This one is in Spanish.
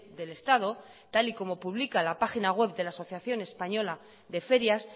del estado tal y como publica la página web de la asociación española de ferias